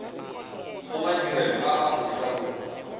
go madirelo a aforika borwa